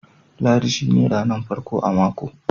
Lahadi shine ranan farko a mako.